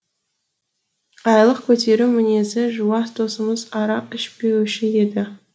айлық көтеру мінезі жуас досымыз арақ ішпеуші еді